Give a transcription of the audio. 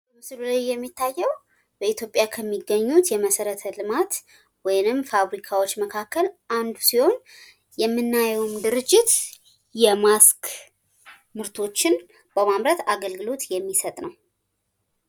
በምስሉ ላይ የምናየው በኢትዮጵያ ውስጥ ከሚገኙ መሠረተ ልማቶች ወይም ፋብሪካዎች መካከል አንዱ ሲሆን ፤ የፊት ማስክ በማምረት አገልግሎት የሚሰጥ ነው።